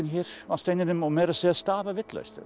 á steininum og meira að segja stafað vitlaust